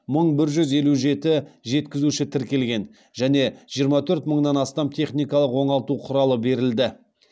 мың бір жүз елу жеті жеткізуші тіркелген және жиырма төрт мыңнан астам техникалық оңалту құралы берілді